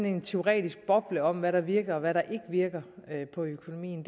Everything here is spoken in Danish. en teoretisk boble om hvad der virker og hvad der ikke virker på økonomien